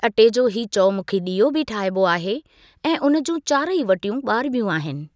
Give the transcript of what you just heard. अटे जो हीअ चौमुखी डि॒यो बि ठाइबो आहे ऐं उन जूं चारई वटियूं बा॒रिबियूं आहिनि।